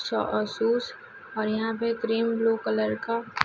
और यहाँ पे क्रीम ब्लू कलर का--